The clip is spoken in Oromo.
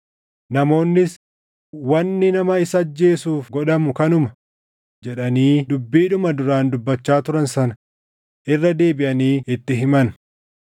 Namoonnis, “Wanni nama isa ajjeesuuf godhamu kanuma” jedhanii dubbiidhuma duraan dubbachaa turan sana irra deebiʼanii itti himan.